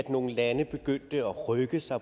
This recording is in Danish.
nogle lande begyndte at rykke sig